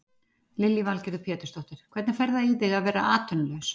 Lillý Valgerður Pétursdóttir: Hvernig fer það í þig að vera atvinnulaus?